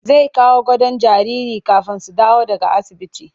Zai kawo gadon jaririn kafin su dawo daga asibiti